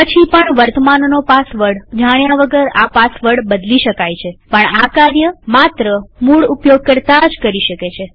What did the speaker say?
પછી પણ વર્તમાનનો પાસવર્ડ જાણ્યા વગર આ પાસવર્ડ બદલી શકાયપણ આ કાર્ય માત્ર મૂળ ઉપયોગકર્તા જ કરી શકે છે